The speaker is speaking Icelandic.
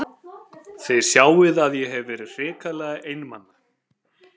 Þið sjáið að ég hef verið hrikalega einmana!